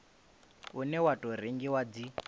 une wa tou rengiwa dzi